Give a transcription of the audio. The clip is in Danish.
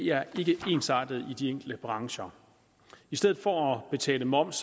er ikke ensartet i de enkelte brancher i stedet for at betale moms